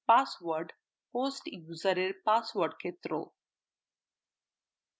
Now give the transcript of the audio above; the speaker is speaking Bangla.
পাসওয়ার্ডhost user এর পাসওয়ার্ড ক্ষেত্র